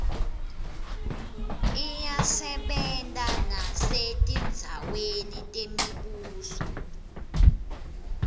iyasebenta nesetindzaweni temibuso